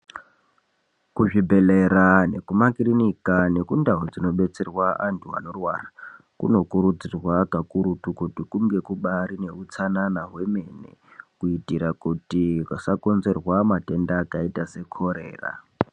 Kuzvibhedhlera neku makirinika nekundaa dzinobetserwa antu anorwara kunokurudzirwa kakurutu kuti kunge kubaari neutsanana hwemene kuitira kuti pasakonzerwa matenda akaita sekorera.